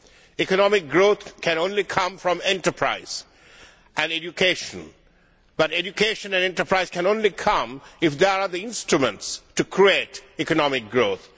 Economic growth can only come from enterprise and education, but education and enterprise can only come if there are the instruments to create economic growth.